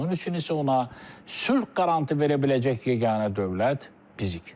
Bunun üçün isə ona sülh qarantı verə biləcək yeganə dövlət bizik.